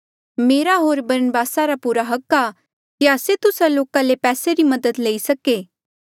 मेरा होर बरनबासा रा पुरा हक आ कि आस्से तुस्सा लोका ले पैसे री मदद लेई सके